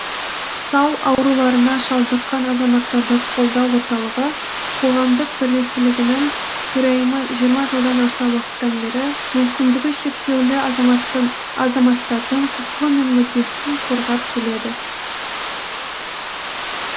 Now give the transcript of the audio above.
сал ауруларына шалдыққан азаматтарды қолдау орталығы қоғамдық бірлестігінің төрайымы жиырма жылдан аса уақыттан бері мүмкіндігі шектеулі азаматтардың құқығы мен мүддесін қорғап келеді